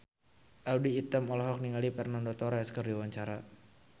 Audy Item olohok ningali Fernando Torres keur diwawancara